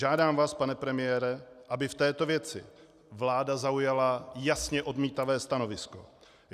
Žádám vás, pane premiére, aby v této věci vláda zaujala jasně odmítavé stanovisko.